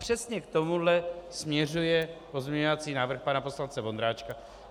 Přesně k tomu směřuje pozměňovací návrh pana poslance Vondráčka.